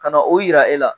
Ka na o yira e la